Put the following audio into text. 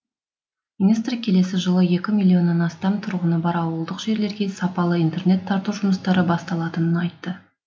министр келесі жылы екі миллионнан астам тұрғыны бар ауылдық жерлерге сапалы интернет тарту жұмыстары басталатынын айтты